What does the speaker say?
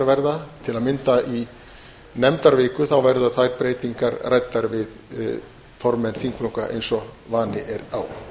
verða til að mynda í nefndaviku verða þær ræddar við formenn þingflokka eins og vani er á